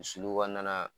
Sulu kɔnɔna na